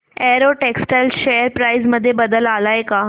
Arrow textiles share price मध्ये बदल आलाय का